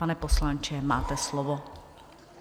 Pane poslanče, máte slovo.